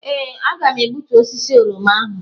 Ee, aga m egbutu osisi oroma ahụ.